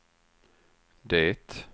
det